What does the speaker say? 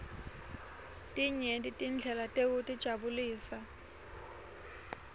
tinyenti tindlela tekutijabulisa